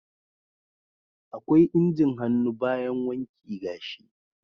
akwai injin hannu bayan wanki gashi.